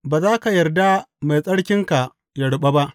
Ba za ka yarda Mai Tsarkinka ya ruɓa ba.’